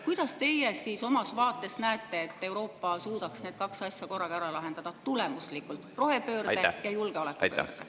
Kuidas teie oma vaates näete, et Euroopa suudaks need kaks asja, rohepöörde ja julgeoleku, korraga ära lahendada, ja tulemuslikult?